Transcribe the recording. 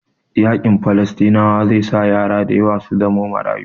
Yaƙin Falasɗinawa zai sa yara dayawa su zamo marayu